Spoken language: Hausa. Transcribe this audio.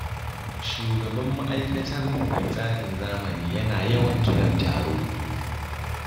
Shugaban ma'aikatar mu mai tsarin zamani yana yawan kiran taro.